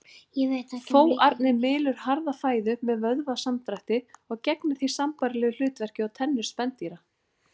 Fóarnið mylur harða fæðu með vöðvasamdrætti og gegnir því sambærilegu hlutverki og tennur spendýra.